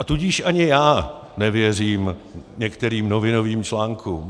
A tudíž ani já nevěřím některým novinovým článkům.